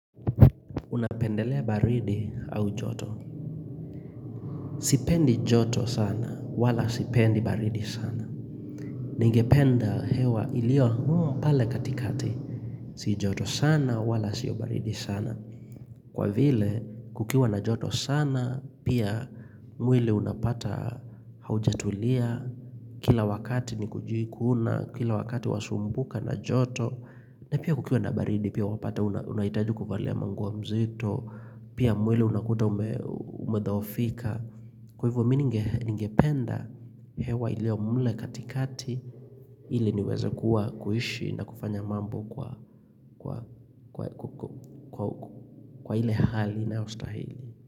Unapendelea baridi au joto Sipendi joto sana wala sipendi baridi sana Ningependa hewa iliyo pale katikati Si joto sana wala sio baridi sana Kwa vile kukiwa na joto sana Pia mwili unapata haujatulia Kila wakati ni kujikuna Kila wakati wasumbuka na joto na pia kukiwa na baridi pia wapata unahitaji kuvalia manguo mzito Pia mwili unakuta umedhoofika. Kwa hivyo mimi ningependa hewa iliyo mle katikati ile niweze kuwa kuishi na kufanya mambo Kwa ile hali inayostahili.